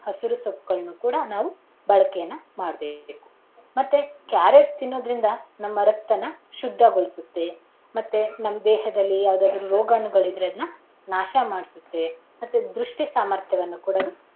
ಹಸಿರು ಸೊಪ್ಪುಗಳನ್ನ ಕೂಡ ನಾವು ಬಳಕೆಯನ್ನ ಮಾಡಬೇಕು. ಮತ್ತೆ ಕ್ಯಾರೆಟ್ ತಿನ್ನೋದರಿಂದ ನಮ್ಮ ರಕ್ತನ ಶುದ್ಧಗೋಳಿಸುತ್ತೆ ಮತ್ತೆ ನಮ್ ದೇಹದಲ್ಲಿ ಯಾವದಾದರೂ ರೋಗಾಣುಗಳಿದ್ರೆ ಅದುನ್ನ ನಾಶ ಮಾಡಸುತ್ತೆ ಮತ್ತೆ ದೃಷ್ಟಿ ಸಾಮರ್ಥ್ಯವನ್ನು ಕೂಡ ಅದು.